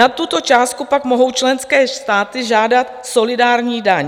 Nad tuto částku pak mohou členské státy žádat solidární daň.